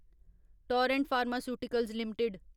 Torrent pharmaceuticals limited